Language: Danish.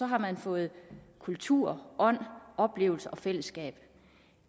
har man fået kultur ånd oplevelser og fællesskab